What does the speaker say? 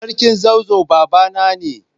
Sarkin zazzau babana ne.